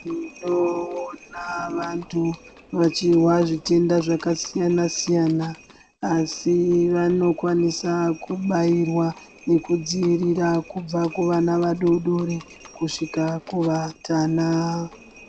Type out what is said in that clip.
Toona vandu vachizwa zvitenda zvakasiyana siyana asi vanokwanisa kubairwa nekudzivirirwa kubva kuvana vadodori kusvika kuvatana.